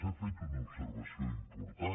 he fet una observació important